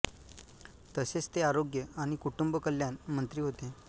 तसेच ते आरोग्य आणि कुटुंब कल्याण मंत्री होते